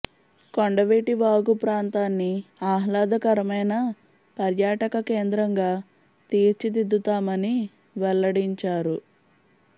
కొండవీటి వాగు ప్రాంతాన్ని ఆహ్లాదకరమైన పర్యాటక కేంద్రంగా తీర్చి దిద్దుతామని వెల్లడించారు